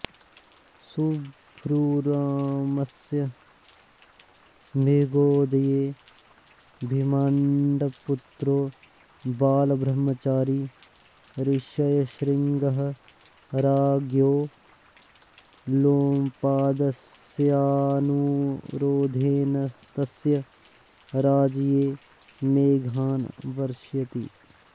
सुब्बूरामस्य मेघोदये विभाण्डपुत्रो बालब्रह्मचारी ऋष्यशृङ्गः राज्ञो लोमपादस्यानुरोधेन तस्य राज्ये मेघान् वर्षयति